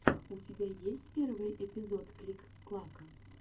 у тебя есть первый эпизод клик клака